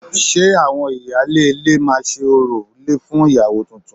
Ṣe àwọn ìyáálé ilé máa ṣe orò ilé fún ìyàwó tuntun?